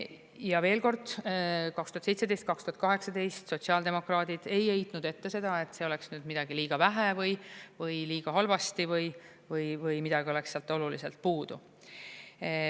Ja veel kord: 2017–2018 sotsiaaldemokraadid ei heitnud ette seda, et see oleks midagi liiga vähe või liiga halvasti või midagi oleks sealt oluliselt puudu.